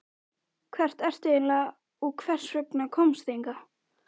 Hver ertu eiginlega og hvers vegna komstu hingað?